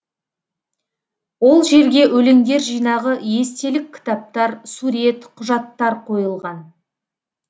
ол жерге өлеңдер жинағы естелік кітаптар сурет құжаттар қойылған